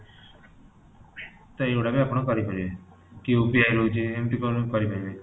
ସେଇ ଗୁଡା ବି ଆପଣ କରିପାରିବେ କି UPI ହଉଚି ଏମିତି ଆପଣ କରିପାରିବେ?